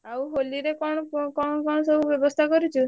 ଆଉ ହୋଲିରେ କଣ କଣ କଣ ସବୁ ବ୍ୟବସ୍ତା କରିଛୁ?